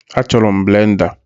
Achọrọ m blenda